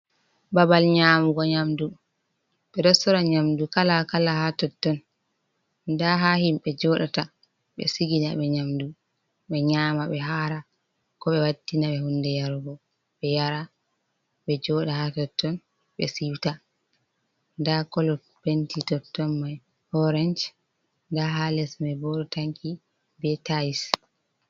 Babal nyamugo nyamdu, ɓe ɗo sora nyamdu kala kala ha totton, nda ha himɓɓe joɗata ɓe sigina ɓe nyamdu ɓe nyama be hara, ko ɓe wattina ɓe hunde yarugo ɓe yara ɓe joɗa ha totton ɓe siwta, nda colo penti toton mai orance nda ha les me bo ɗo tanki be tais.